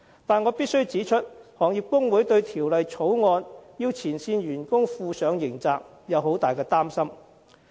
但是，我必須指出，行業工會對條例草案規定前線員工負上刑責極表擔心。